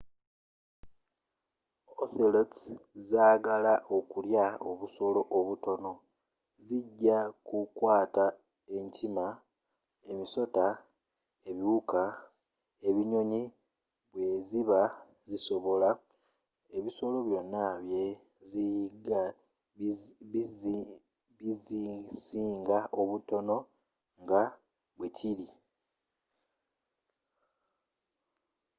ocelots zaagala okulya obusolo obutono zijja kukwata enkima emisota ebiwuka ebinyonyi bwe ziba zisobola ebisolo byonna bye ziyigga bizisinga obutono nga bwe kiri